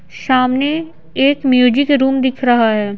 सामने एक music room दिख रहा है।